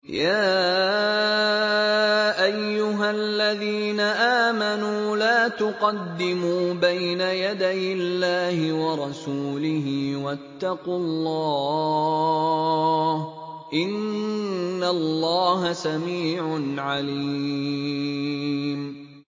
يَا أَيُّهَا الَّذِينَ آمَنُوا لَا تُقَدِّمُوا بَيْنَ يَدَيِ اللَّهِ وَرَسُولِهِ ۖ وَاتَّقُوا اللَّهَ ۚ إِنَّ اللَّهَ سَمِيعٌ عَلِيمٌ